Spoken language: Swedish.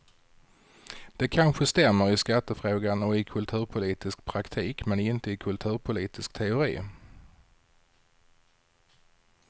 Det kanske stämmer i skattefrågan och i kulturpolitisk praktik, men inte i kulturpolitisk teori.